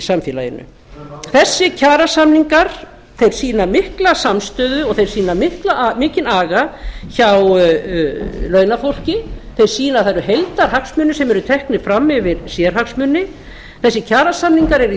samfélaginu þessir kjarasamningar sýna mikla samstöðu og þeir sýna mikinn aga hjá launafólki þeir sýna að það eru heildarhagsmunir sem eru teknir fram yfir sérhagsmuni þessir kjarasamningar eru í